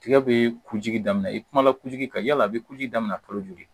Tigɛ bee kujigi daminɛ i kumana kujigi kan yala a be kujigi daminɛ kalo duuru